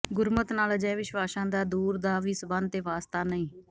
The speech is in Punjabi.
ਗੁਰਮੱਤ ਨਾਲ ਅਜਿਹੇ ਵਿਸ਼ਵਾਸਾ ਦਾ ਦੂਰ ਦਾ ਵੀ ਸਬੰਧ ਤੇ ਵਾਸਤਾ ਨਹੀਂ